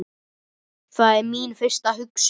Það er mín fyrsta hugsun.